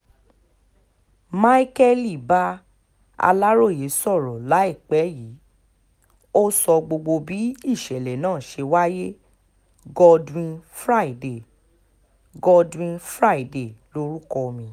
micheal bá aláròyé sọ̀rọ̀ láìpẹ́ yìí ó sọ gbogbo bí ìṣẹ̀lẹ̀ náà ṣe wáyé godwin friday godwin friday lórúkọ mi